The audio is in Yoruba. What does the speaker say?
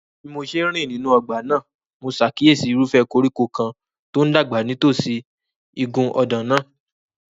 Bí mo ṣe ń rìn nínú ọgbà náà, mo ṣàkíyèsí irúfẹ́ koríko kan tó ń dàgbà nítòsí igun ọ̀dàn náà.